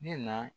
Ne na